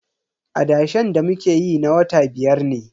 Adashen da muke yi na wata biyar ne.